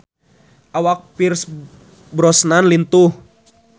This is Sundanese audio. Awak Pierce Brosnan lintuh